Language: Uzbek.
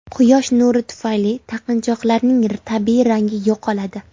Quyosh nuri tufayli taqinchoqlarning tabiiy rangi yo‘qoladi.